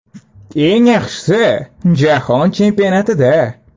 Eng yaxshisi, jahon chempionatida.